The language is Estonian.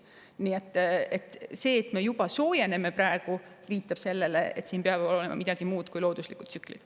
Nii et see, et nüüd juba soojeneb, viitab sellele, et siin peab olema tegemist millegi muu kui loodusliku tsükliga.